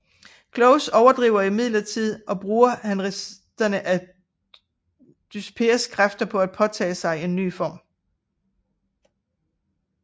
Close overlever imidlertid og bruger han resterne af Dyspears kræfter til at påtage sig en ny form